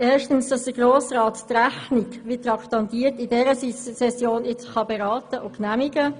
Erstens soll der Grosse Rat die Rechnung wie traktandiert in dieser Session beraten und genehmigen.